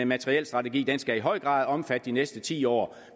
materielstrategi den skal i høj grad omfatte de næste ti år